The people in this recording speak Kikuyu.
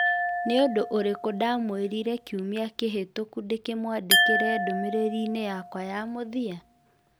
Nĩ ũndũ ũrĩkũ ndamwĩrire kiumia kĩhĩtũku ndĩkĩmwandĩkĩra ndũmĩrĩri-inĩ yakwa ya mũthia?